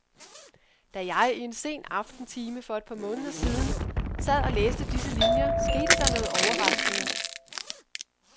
Da jeg i en sen aftentime for et par måneder siden sad og læste disse linier, skete der noget overraskende.